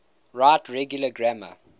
right regular grammar